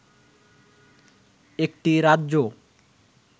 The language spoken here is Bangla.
একটি রাজ্য